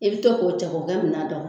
I bɛ to k'o cɛ k'o kɛ minan na.